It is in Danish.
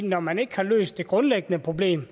når man ikke har løst det grundlæggende problem